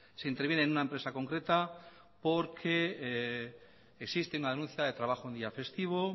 se interviene en una empresa concreta porque existe una denuncia de trabajo en un día festivo